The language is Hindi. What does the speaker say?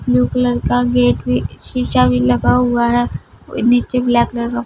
ब्लू कलर का गेट भी शीशा भी लगा हुआ है नीचे ब्लैक कलर का--